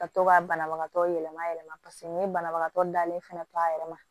Ka to ka banabagatɔ yɛlɛma yɛlɛma n ye banabagatɔ dalen fana to a yɛrɛ ma